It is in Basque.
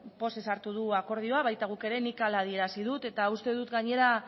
pozez hartu du akordioa baita guk ere nik hala adierazi dut eta uste dut gainera